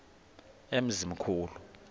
emzimkhulu